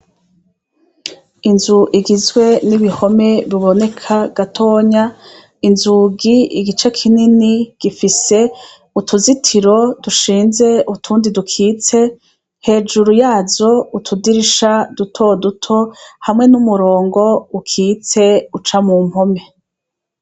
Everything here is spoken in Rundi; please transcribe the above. Inzu igizwe n'ibihome biboneka gatonya inzugi igice kinini gifise utuzitiro dushinze utundi dukitse hejuru yazo utudirisha duto duto hamwe n'umurongo ukitse uca mu mpome.